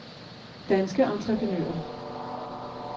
Danske Entreprenører